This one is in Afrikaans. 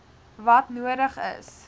wat nodig is